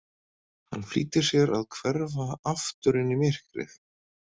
Hann flýtir sér að hverfa aftur inn í myrkrið.